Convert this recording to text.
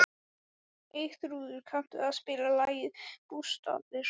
Eyþrúður, kanntu að spila lagið „Bústaðir“?